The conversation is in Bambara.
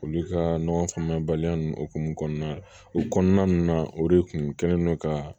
Olu ka ɲɔgɔn faamuyabaliya ninnu hokumu kɔnɔna la o kɔnɔna ninnu na o de kun kɛlen don ka